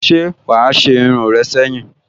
Se wa a se irun re seyin?